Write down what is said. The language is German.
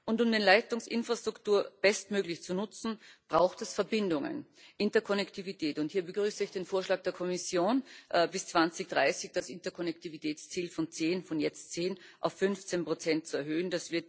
Und um die Leitungsinfrastruktur bestmöglich zu nutzen, braucht es Verbindungen Interkonnektivität und hier begrüße ich den Vorschlag der Kommission, bis 2030 das Interkonnektivitätsziel von jetzt 10 auf 15 zu erhöhen.